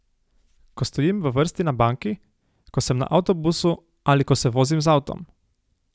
Ko stojim v vrsti na banki, ko sem na avtobusu ali ko se vozim z avtom.